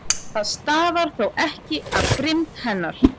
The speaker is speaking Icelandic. Það stafar þó ekki af grimmd hennar.